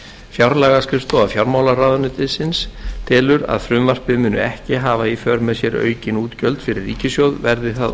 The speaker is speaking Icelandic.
fjárlagaskrifstofa fjármálaráðuneytisins telur að frumvarpið muni ekki hafa í för með sér aukin útgjöld fyrir ríkissjóð verði það